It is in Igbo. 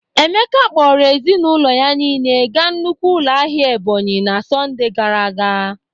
Emeka kpọrọ ezinaụlọ ya niile ga nnukwu ụlọ ahịa Ebonyi na Sọnde gara aga.